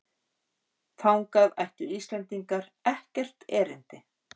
Þangað ættu Íslendingar ekkert erindi